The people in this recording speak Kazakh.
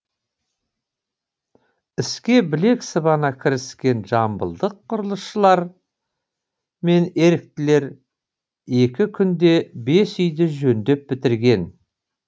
іске білек сыбана кіріскен жамбылдық құрылысшылар мен еріктілер екі күнде бес үйді жөндеп бітірген